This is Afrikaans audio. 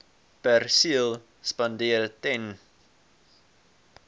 perseel spandeer ten